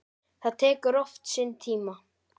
Það tekur oft sinn tíma.